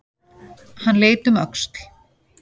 Hann leit um öxl.